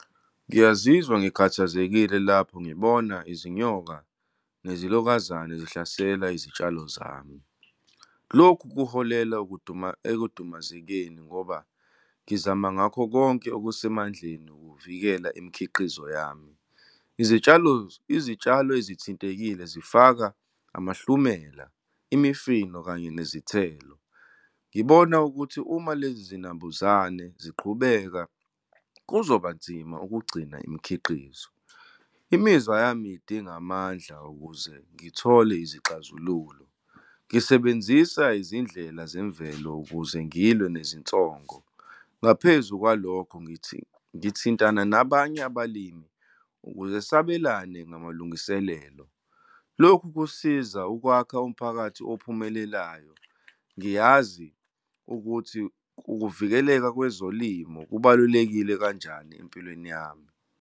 Ngiyazizwa ngikhathazekile lapho ngibona izinyoka nezilokuzane zihlasela izitshalo zami. Lokhu kuholela ekudumazekeni, ngoba ngizama ngakho konke okusemandleni ukuvikela imikhiqizo yami. Izitshalo, izitshalo ezithintekile zifaka amahlumela, imifino kanye nezithelo. Ngibona ukuthi uma lezi zinambuzane ziqhubeka kuzoba nzima ukugcina imikhiqizo. Imizwa yami idinga amandla ukuze ngithole izixazululo. Ngisebenzisa izindlela zemvelo ukuze ngilwe nezinsongo. Ngaphezu kwalokho, ngithi ngithintana nabanye abalimi ukuze sabelane ngamalungiselelo. Lokhu kusiza ukwakha umphakathi ophumelelayo. Ngiyazi ukuthi ukuvikeleka kwezolimo kubalulekile kanjani empilweni yami.